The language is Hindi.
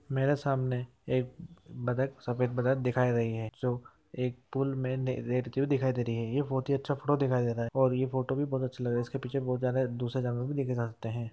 मेरे सामने एक सफेद बतक दिखाई दे रही हे एक पुल मे एक दिखाई दे रहीहैये फोटो भी बहोत दूसरे जानते हे।